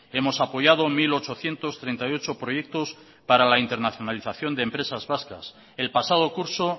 hemos apoyado mil ochocientos treinta y ocho proyectos para la internalización de empresas vascas el pasado curso